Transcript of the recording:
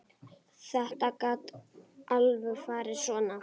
Þetta gat alveg farið svona.